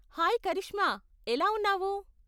Hi Karishma, ఎలా ఉన్నావు?